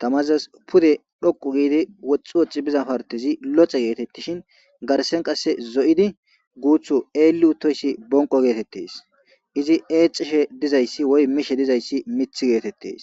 tamazas pude dhoqu giidi woxxu woxi biza partizi loce geetettishin garsen qasse zo7idi guuthu eelli uttoyssi bonqo geetettes izi eecishe dizayssi woy mishe dizayssi mith geetettes